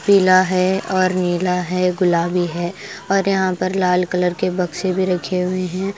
पीला है और नीला है गुलाबी है और यहां पर लाल कलर के बक्से भी रखे हुए हैं।